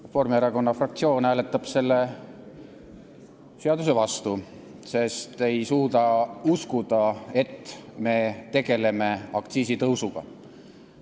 Reformierakonna fraktsioon hääletab selle seaduse vastu, sest me ei suuda uskuda, et me tegeleme aktsiisitõusuga.